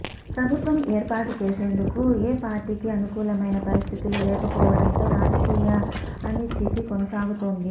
ప్రభుత్వం ఏర్పాటు చేసేందుకు ఏ పార్టీకి అనుకూలమైన పరిస్థితులు లేకపోవడంతో రాజకీయ అనిశ్చితి కొనసాగుతోంది